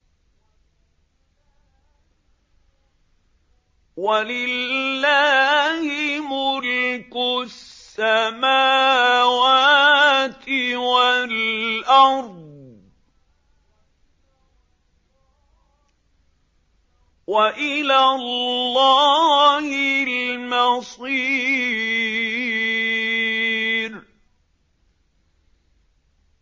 وَلِلَّهِ مُلْكُ السَّمَاوَاتِ وَالْأَرْضِ ۖ وَإِلَى اللَّهِ الْمَصِيرُ